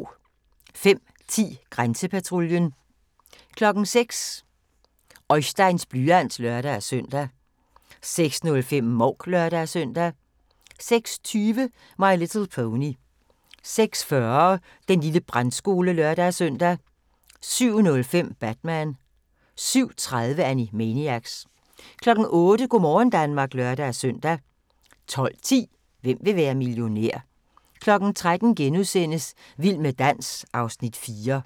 05:10: Grænsepatruljen 06:00: Oisteins blyant (lør-søn) 06:05: Mouk (lør-søn) 06:20: My Little Pony 06:40: Den lille brandskole (lør-søn) 07:05: Batman 07:30: Animaniacs 08:00: Go' morgen Danmark (lør-søn) 12:10: Hvem vil være millionær? 13:00: Vild med dans (Afs. 4)*